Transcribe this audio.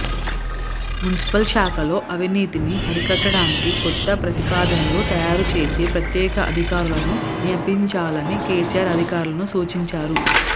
municipal శాఖలో అవినీతిని హరికట్టడానికికొత్త ప్రతిపాదనలు తయారు చేసి ప్రత్యేక అధికారులను నియమించాలని కేసీఅర్ అధికారులకు సూచించారు